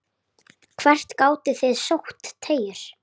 Hvert gátuð þið sótt tekjur?